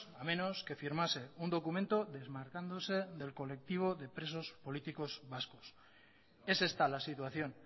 a menos que firmase un documento desmarcándose del colectivo de presos políticos vascos es esta la situación